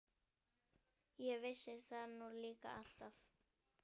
Ég vissi það nú líka alltaf!